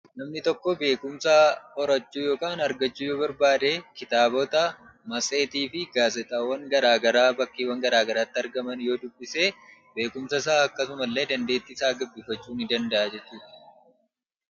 Namni tokko beekumsa horachuu yookaan argachuu yoo barbaade, kitaabota, matseetii fi gaazeexaawwan garaagaraa bakkeewwan garaagaraatti argaman yoo dubbise, beekumsasaa akkasuma illee dandeettiisaa gabbifachuu ni danda'a jechuu dha.